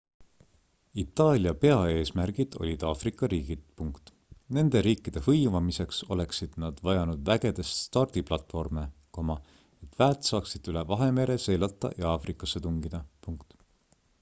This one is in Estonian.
itaalia peaeesmärgid olid aafrika riigid nende riikide hõivamiseks oleksid nad vajanud vägede stardiplatvorme et väed saaksid üle vahemere seilata ja aafrikasse tungida